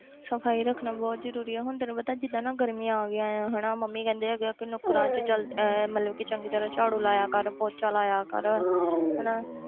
ਸਫ਼ਾਈ ਰੱਖਣਾ ਬਹੁਤ ਜ਼ਰੂਰੀ ਹੈ ਹੁਣ ਤੈਨੂੰ ਪਤਾ ਜਿੱਦਾਂ ਨਾ ਗਰਮੀਆਂ ਆ ਗਈਆਂ ਹੈ ਹਨਾ ਮੰਮੀ ਕਹਿੰਦੇ ਹੈਗੇ ਕਿ ਨੁੱਕਰਾਂ 'ਚ ਚੱਲ ਇਹ ਮਤਲਬ ਕਿ ਚੰਗੀ ਤਰ੍ਹਾਂ ਝਾੜੂ ਲਾਇਆ ਕਰ ਪੋਚਾ ਲਾਇਆ ਕਰ ਹਨਾ,